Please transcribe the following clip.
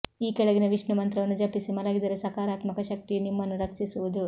ಈ ಕೆಳಗಿನ ವಿಷ್ಣು ಮಂತ್ರವನ್ನು ಜಪಿಸಿ ಮಲಗಿದರೆ ಸಕಾರಾತ್ಮಕ ಶಕ್ತಿಯು ನಿಮ್ಮನ್ನು ರಕ್ಷಿಸುವುದು